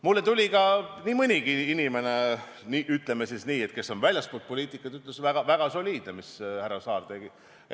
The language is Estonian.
Mulle tuli ka nii mõnigi inimene, kes on väljaspool poliitikat, pärast ütlema, et see oli väga soliidne, mis härra Saar tegi.